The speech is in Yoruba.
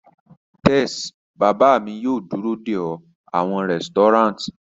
Tes, baba mi yoo duro de ọ awọn resturant